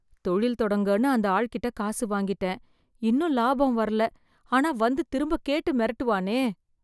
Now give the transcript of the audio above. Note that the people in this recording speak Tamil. தொழில் தொடங்கன்னு அந்த ஆள்ட்ட காசு வாங்கிட்டேன், இன்னும் லாபம் வரல, ஆனா வந்து திரும்ப கேட்டு மிரட்டுவானே.